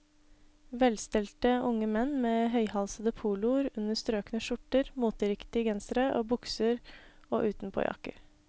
Velstelte unge menn med høyhalsede poloer under strøkne skjorter, moteriktige gensere og bukser og utenpåjakker.